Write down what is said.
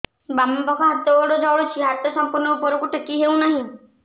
ବାମପାଖ ହାତ ଗୋଡ଼ ଜଳୁଛି ହାତ ସଂପୂର୍ଣ୍ଣ ଉପରକୁ ଟେକି ହେଉନାହିଁ